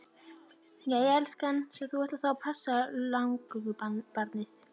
Jæja elskan, svo að þú ætlar þá að passa langömmubarnið?